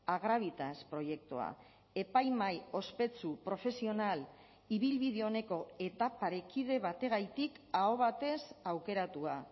agravitas proiektua epaimahai ospetsu profesional ibilbide oneko eta parekide bategatik aho batez aukeratua